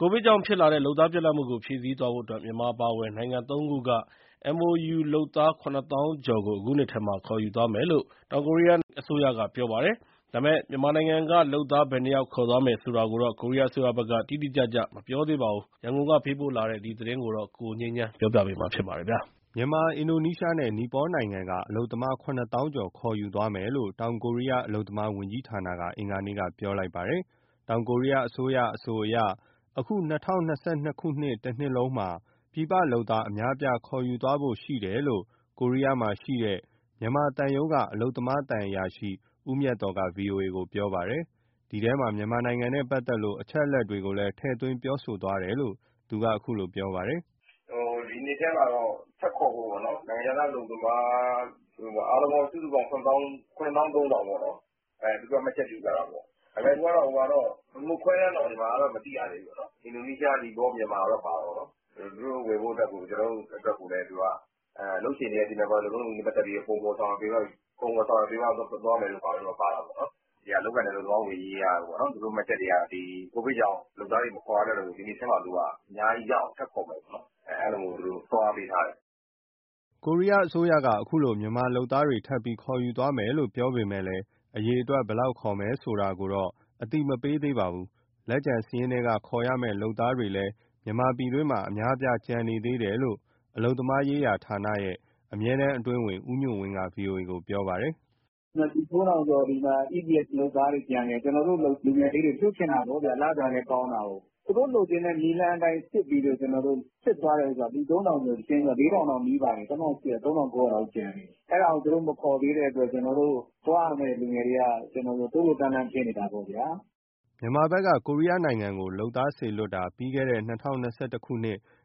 ကိုဗစ်ကြောင့်ဖြစ်လာတဲ့ လုပ်သားပြတ်လပ်မှုကို ဖြည့်ဆည်းသွားဖို့အတွက် မြန်မာအပါအဝင် နိုင်ငံသုံးခုက MoU လုပ်သား ၇၀,၀၀၀ ကျော်ကို အခုနှစ်ထဲမှာ ခေါ်ယူသွားမယ်လို့ ကိုရီးယားအစိုးရက ပြောပါတယ်။ ဒါပေမဲ့ မြန်မာနိုင်ငံကလုပ်သား ဘယ်နှယောက် ခေါ်သွားမယ်ဆိုတာကိုတော့ ကိုရီးယားအစိုးရဘက်က တိတိကျကျမပြောသေးပါဘူး။ ရန်ကုန်ကပေးပို့ထားတဲ့ ဒီသတင်းကို ကိုငြိမ်းချမ်းက တင်ပြပေးထားပါတယ်။ မြန်မာ၊ အင်ဒိုနီးရှားနဲ့ နီပေါနိုင်ငံက အလုပ်သမား ၇၀,၀၀၀ ကျော် ခေါ်ယူသွားမယ်လို့ တောင်ကိုရီးယားအလုပ်သမားဝန်ကြီးဌာနက အင်္ဂါနေ့က ပြောလိုက်ပါတယ်။ တောင်ကိုရီးယားအစိုးရ ပြောပုံအရဆိုရင် အခု ၂၀၂၂ တနှစ်လုံးမှာ ပြည်ပလုပ်သား အများအပြား ခေါ်ယူသွားဖို့ရှိတယ်လို့ ကိုရီးယားမှာရှိတဲ့ မြန်မာသံရုံးက အလုပ်သမားသံအရာရှိ ဦးမြတ်သော်က ဗွီအိုအေကိုပြောပါတယ်။ ဒီထဲမှာ မြန်မာနိုင်ငံနဲ့ပတ်သက်တဲ့ အချက်အလက်တွေကိုလည်း ထည့်သွင်းပြောသွားတယ်လို့ သူကအခုလိုပြောပါတယ်။ " ဒီနှစ်ထဲမှာ ထပ်ခေါ်ဖို့ပေါ့နော် နိုင်ငံခြားသားအလုပ်သမား အားလုံးပေါင်းစုစုပေါင်း ၇၃,၀၀၀ ပေါ့နော်၊ သူတို့က မှတ်ချက်ပြုထားတာပေါ့။ မြန်မာကတော့ ခွဲတမ်းတော့ မသိရသေးဘူး။ အင်ဒိုနီးရှား၊ မြန်မာ၊ နီပေါတော့ ပါတာပေါ့နော်။ ကျနော်တို့အတွက်ကိုလည်း သူက အလုပ်ရှင်တွေရဲ့ စီမံခန့်ခွဲမှု၊ လုပ်ထုံးလုပ်နည်းနဲ့ ပတ်သက်ပြီး ပုံဖော်၊ ဆောင်ရွက်ပေးသွားမယ်တို့ ပါတာပေါ့နော်။ (ကိုရီးယား) အလုပ်အကိုင်နှင့် အလုပ်သမားဝန်ကြီးက သူတို့မှတ်ချက်တွေက ကိုဗစ်ကြောင့် လုပ်သားတွေ မခေါ်ရတော့ဘူး၊ ဒီနှစ်ထဲမှာသူက အများကြီးရအောင် ထပ်ခေါ်မယ်ပေါ့နော်။ အဲလိုသူတို့ လုပ်ပေးထားတယ်။" ကိုရီးယားအစိုးရက အခုလို မြန်မာလုပ်သားတွေ ထပ်ပြီးခေါ်ယူသွားမယ်လို့ ပြောပေမဲ့လည်း အရေအတွက် ဘယ်လောက်ခေါ်မယ်ဆိုတာ အသိမပေးသေးပါဘူး။ လက်ကျန်စာရင်းထဲက ခေါ်ရမယ့်လုပ်သားတွေလည်း မြန်မာပြည်တွင်းမှာ အများအပြား ကျန်နေသေးတယ်လို့ မြန်မာအလုပ်သမားရေးဌာနရဲ့ အမြဲတမ်းအတွင်းဝန် ဦးညွှန့်ဝင်းက ဗွီအိုအေကို ပြောပါတယ်။ " လူ ၃,၀၀၀ ကျော်ဒီမှာ EPS ( ကိုရီးယားအလုပ်အကိုင် အရည်အချင်းစစ်စာမေးပွဲ) လုပ်သားတွေ ကျန်သေးတယ်။ ကျနော်တို့လူငယ်လေးတွေ လွှတ်ချင်တာပေါ့ဗျ၊ လစာလည်းကောင်းတာကိုး။ သူတို့လိုချင်တဲ့ နည်းလမ်းအတိုင်း ကျနော်တို့စစ်သွားတဲ့ဟာ လူ ၃,၀၀၀ ကျော်၊ ၄,၀၀၀ တောင်နီးပါတယ် ၃,၉၀၀ လောက်ကျန်တယ်။ အဲဒါကို သူတို့မခေါ်သေးတဲ့အတွက် ကျနော်တို့ သွားရမယ့်လူငယ်တွေက တိုးလိုးတန်းလန်း ဖြစ်နေတာပေါ့ဗျာ။" မြန်မာဘက်က ကိုရီးယားကို လုပ်သားစေလွှတ်တာကို ပြီးခဲ့တဲ့ ၂၀၂၁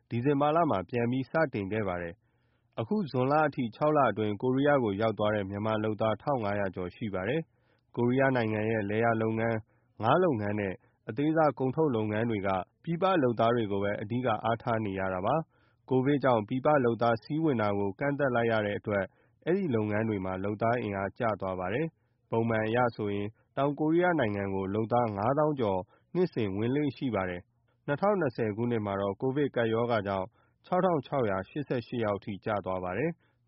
ဒီဇင်ဘာမှာ ပြန်ပြီး စတင်ခဲ့ပါတယ်။ အခုဇွန်လအထိ ခြောက်အတွင်း ကိုရီးယားကိုရောက်သွားတဲ့ မြန်မာလုပ်သားက ၁,၅၀၀ ကျော်ရှိပါတယ်။ ကိုရီးယားနိုင်ငံရဲ့ လယ်လုပ်ငန်း၊ ငါးလုပ်ငန်းနဲ့ အသေးစားကုန်ထုတ် လုပ်ငန်းတွေက ပြည်ပလုပ်သားတွေကိုပဲ အဓိကအားထားရတာပါ။ ကိုဗစ်ကြောင့် ပြည်ပလုပ်သား စီးဝင်တာ ကန့်သတ်လိုက်ရလို့ ဒီလုပ်ငန်းတွေမှာ လုပ်သားအင်အား ကျသွားပါတယ်။ ပုံမှန်အရဆိုရင် တောင်ကိုရီးယားနိုင်ငံကို လုပ်သား ၅၀,၀၀၀ ကျော်နှစ်တိုင်း ဝင်လေ့ရှိပါတယ်။၂၀၂၀မှာတော့ ကိုဗစ်ကြောင့် ၆,၆၈၈ ယောက်အထိ ကျသွားတာပါ။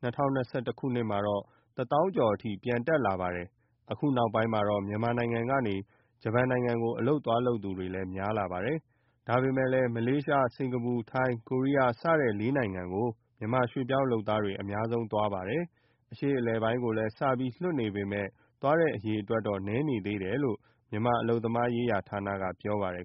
၂၀၂၁ မှာတော့ ၁၀,၀၀၀ ကျော်အထိ ပြန်တက်လာတာပါ။ အခုနောက်ပိုင်းမှာ မြန်မာနိုင်ငံကနေ ဂျပန်နိုင်ငံကို အလုပ်သွားလုပ်သူတွေလည်း များလာပါတယ်။ ဒါပေမဲ့ မလေးရှား၊ စင်္ကာပူ၊ ထိုင်း၊ ကိုရီးယား စတဲ့ လေးနိုင်ငံကို မြန်မာရွှေ့ပြောင်းလုပ်သားတွေ အများဆုံးသွားတာ ဖြစ်ပါတယ်။ အရှေ့အလယ်ပိုင်းကိုလည်း စပြီးလွှတ်နေပေမဲ့ သွားတဲ့အရေအတွက်တော့ နည်းသေးတယ်လို့ မြန်မာအလုပ်သမားရေးဌာနက ပြောပါတယ်